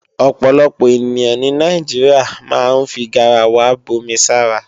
Ọ̀pọ̀lọpọ̀ ènìyàn ní Nàìjíríà máa ń fi garawa bomi sára